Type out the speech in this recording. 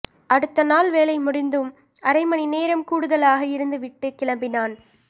அடுத்த நாள் வேலை முடிந்தும் அரை மணி நேரம் கூடுதலாக இருந்து விட்டு கிளம்பினான்